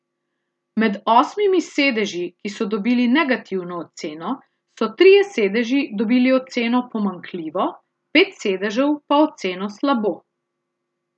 Med osmimi sedeži, ki so dobili negativno oceno, so trije sedeži dobili oceno pomanjkljivo, pet sedežev pa oceno slabo.